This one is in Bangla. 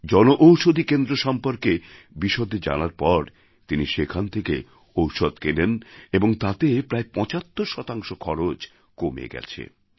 জন ঔষধী কেন্দ্র সম্পর্কে বিশদে জানার পর তিনি সেখান থেকে ওষুধ কেনেন এবং তাতে প্রায় ৭৫ শতাংশ খরচ কমে গেছে